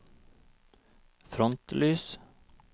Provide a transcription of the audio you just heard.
frontlys